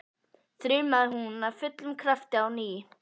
þrumaði hún af fullum krafti á ný.